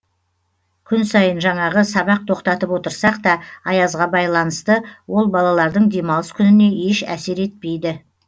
күн сайын жанағы сабақ тоқтатып отырсақ та аязға байланысты ол балалардың демалыс күніне еш әсер етпейді